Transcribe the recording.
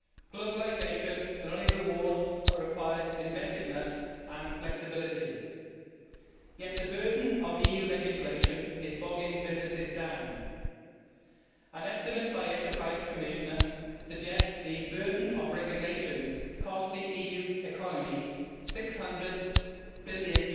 Globalisation not only rewards, but requires inventiveness and flexibility, yet the burden of EU legislation is bogging businesses down. An estimate by the Enterprise Commissioner suggests the burden of regulation costs the EU economy EUR 600 billion